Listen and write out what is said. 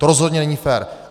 To rozhodně není fér.